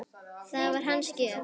Það var hans gjöf.